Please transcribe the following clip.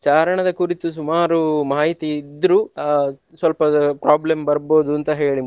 ಚಾರಣದ ಕುರಿತು ಸುಮಾರು ಮಾಹಿತಿ ಇದ್ರು ಆ ಸ್ವಲ್ಪ problem ಬರ್ಬೋದು ಅಂತ ಹೇಳಿ.